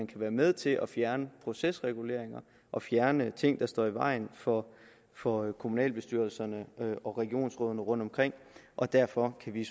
kan være med til at fjerne procesreguleringer og fjerne ting der står i vejen for for kommunalbestyrelserne og regionsrådene rundtomkring og derfor kan vi